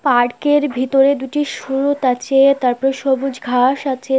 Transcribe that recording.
Park -এর ভিতরে দুটি সুরুৎ আছে তারপরে সবুজ ঘাস আছে।